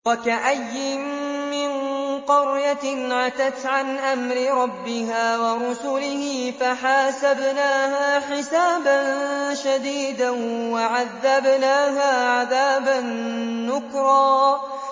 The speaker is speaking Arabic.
وَكَأَيِّن مِّن قَرْيَةٍ عَتَتْ عَنْ أَمْرِ رَبِّهَا وَرُسُلِهِ فَحَاسَبْنَاهَا حِسَابًا شَدِيدًا وَعَذَّبْنَاهَا عَذَابًا نُّكْرًا